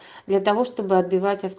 для того чтобы